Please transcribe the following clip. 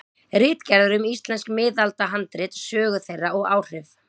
Ritgerðir um íslensk miðaldahandrit, sögu þeirra og áhrif.